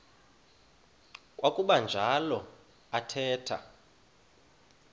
kwakuba njalo athetha